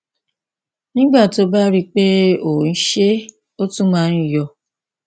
nígbà tó o bá rí i pé o ń ṣe é ó tún máa ń yọ